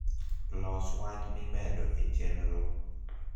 los wach mi medo e chenro